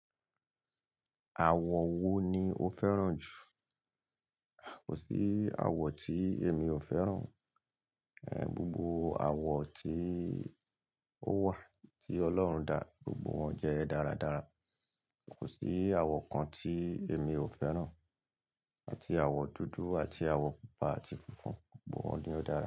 Àwọ̀ wo ni o fẹ́ràn jù? Kò sí àwọ̀ tí èmi ò fẹ́ràn. Gbogbo àwọ̀ tí ó wà tí Ọlọ́run dá, gbogbo wọn jẹ́ dáradára. Kò sí àwọ̀ kan tí èmi ò fẹ́ràn. Àti àwọ̀ dúdú àti àwọ̀ pupa àti funfun, gbogbo wọn ni ó dára.